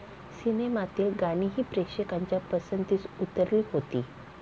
सिनेमातील गाणीही प्रेक्षकांच्या पसंतीस उतरली होती.